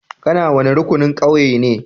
Ka na wani rukunin ƙauyen ne?